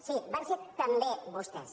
sí van ser bé vostès